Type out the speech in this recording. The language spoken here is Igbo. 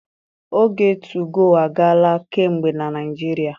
Oge tugoo agaala kamgbe na Naịjirịa.